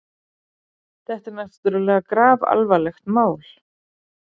Þetta er náttúrlega grafalvarlegt mál.